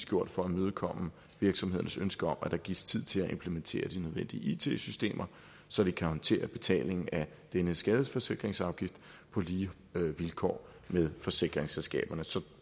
gjort for at imødekomme virksomhedernes ønske om at der gives tid til at implementere de nødvendige it systemer så de kan håndtere betalingen af denne skadesforsikringsafgift på lige vilkår med forsikringsselskaberne så